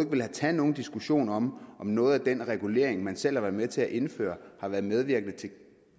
ikke vil tage nogen diskussion om om noget af den regulering man selv har været med til at indføre har været medvirkende til